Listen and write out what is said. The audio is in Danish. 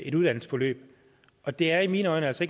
et uddannelsesforløb og det er i mine øjne altså